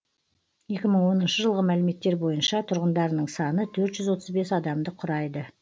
екі мың оныншы жылғы мәліметтер бойынша тұрғындарының саны төрт жүз отыз бес адамды құрайды